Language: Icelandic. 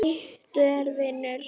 Flýttu þér, vinur.